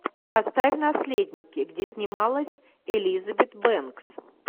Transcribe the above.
поставь наследники где снималась элизабет бэнкс